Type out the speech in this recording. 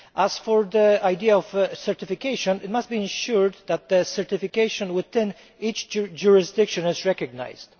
As for the idea of certification, it must be ensured that the certification within each jurisdiction is recognised.